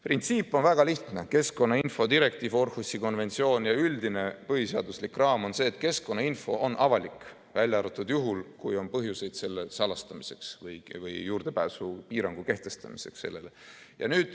Printsiip on väga lihtne: keskkonnainfo direktiiv, Århusi konventsioon ja üldine põhiseaduslik raam on see, et keskkonnainfo on avalik, välja arvatud juhul, kui on põhjuseid selle salastamiseks või juurdepääsupiirangu kehtestamiseks sellele.